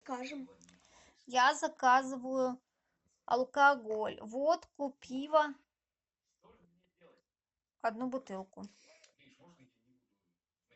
я заказываю алкоголь водку пиво одну бутылку